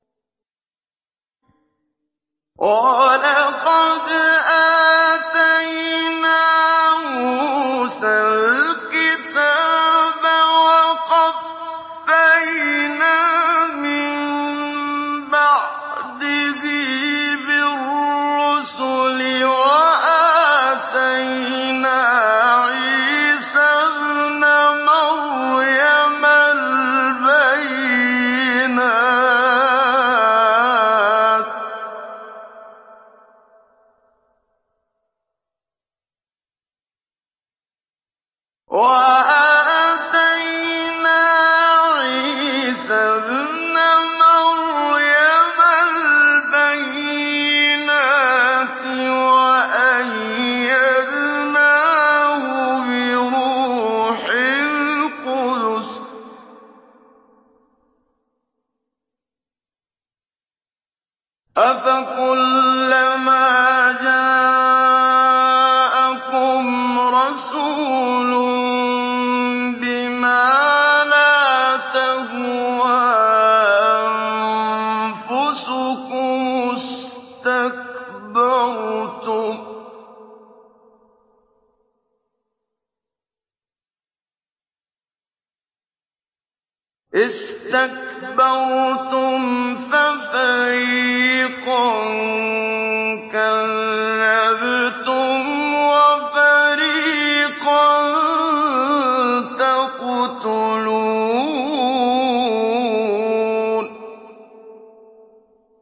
وَلَقَدْ آتَيْنَا مُوسَى الْكِتَابَ وَقَفَّيْنَا مِن بَعْدِهِ بِالرُّسُلِ ۖ وَآتَيْنَا عِيسَى ابْنَ مَرْيَمَ الْبَيِّنَاتِ وَأَيَّدْنَاهُ بِرُوحِ الْقُدُسِ ۗ أَفَكُلَّمَا جَاءَكُمْ رَسُولٌ بِمَا لَا تَهْوَىٰ أَنفُسُكُمُ اسْتَكْبَرْتُمْ فَفَرِيقًا كَذَّبْتُمْ وَفَرِيقًا تَقْتُلُونَ